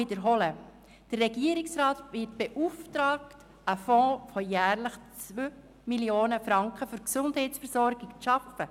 Der Regierungsrat wird beauftragt, einen Fonds von jährlich 2 Mio. Franken für die Gesundheitsversorgung zu schaffen.